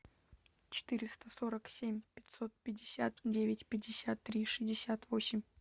четыреста сорок семь пятьсот пятьдесят девять пятьдесят три шестьдесят восемь